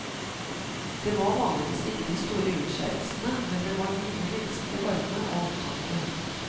Det var vanligvis ikke de store utskeielsene, men det var mye menneskelig varme og omtanke.